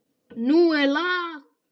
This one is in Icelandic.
Nú er lag!